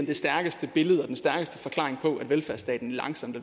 det stærkeste billede og den stærkeste forklaring på at velfærdsstaten langsomt